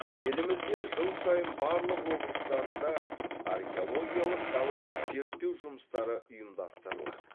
елімізде жыл сайын барлық облыстарында археологиялық далалық зерттеу жұмыстары ұйымдастырылады